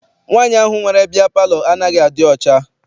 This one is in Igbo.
Nwaanyi ahụ nwere bịya palọ anaghị adị ọcha.